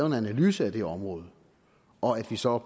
en analyse af det område og at vi så